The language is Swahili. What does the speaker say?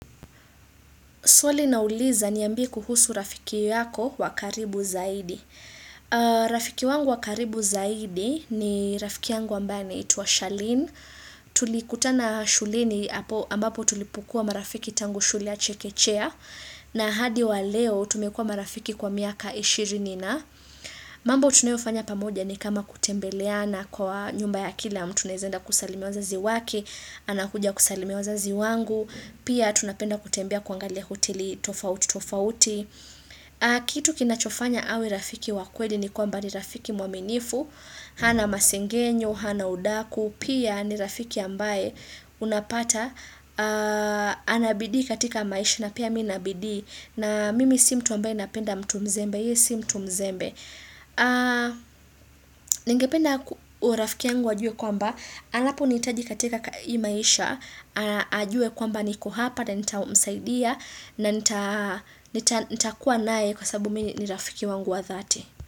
Swali nauliza niambie kuhusu rafiki yako wa karibu zaidi. Rafiki wangu wa karibu zaidi ni rafiki yangu ambaye anaitwa Shaleen. Tulikuta na shuleni ambapo tulipokua marafiki tangu shule ya Chekechea. Na hadi wa leo tumekua marafiki kwa miaka ishirini na. Mambo tunayofanya pamoja ni kama kutembeleana kwa nyumba ya kila. Kwa mtu naeza enda kusalimia wazazi wake, anakuja kusalimia wazazi wangu. Pia tunapenda kutembea kuangalia hoteli tofauti tofauti Kitu kinachofanya awe rafiki wa kweli ni kwamba ni rafiki mwaminifu hana masengenyo, hana udaku Pia ni rafiki ambaye unapata Anabidii katika maisha na pia mimi nina bidii na mimi si mtu ambaye napenda mtu mzembe yeye si mtu mzembe Ningependa rafiki yangu ajue kwamba Anaponihitaji katika hii maisha ajue kwamba niko hapa na nitamsaidia na nitakuwa naye kwa sababu mimi ni rafiki wangu wa dhati.